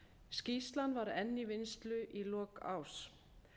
skýrslan var enn í vinnslu í lok árs